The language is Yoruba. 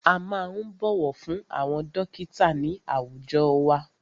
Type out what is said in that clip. A máa ń bọ̀wọ̀ fún àwọn dọ́kítà ní àwùjọ wa.